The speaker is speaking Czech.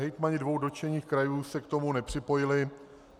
Hejtmani dvou dotčených krajů se k tomu nepřipojili.